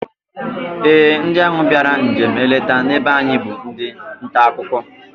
Ee, ndị ahụ bịara njem nleta na be anyị bụ ndị ntaakụkọ